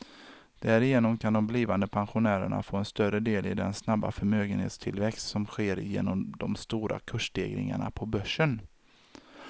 Därigenom kan de blivande pensionärerna få en större del i den snabba förmögenhetstillväxt som sker genom de stora kursstegringarna på börsen.